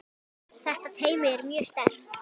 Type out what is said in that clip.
Þetta teymi er mjög sterkt.